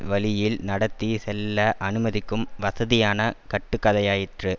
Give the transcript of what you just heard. வழியில் நடத்தி செல்ல அனுமதிக்கும் வசதியான கட்டுக்கதையாயிற்று